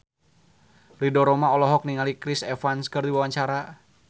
Ridho Roma olohok ningali Chris Evans keur diwawancara